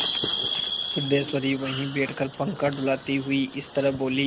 सिद्धेश्वरी वहीं बैठकर पंखा डुलाती हुई इस तरह बोली